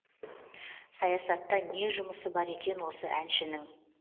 саясатта не жұмысы бар екен осы әншінің